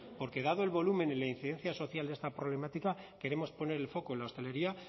porque dado el volumen y la incidencia social de esta problemática queremos poner el foco en la hostelería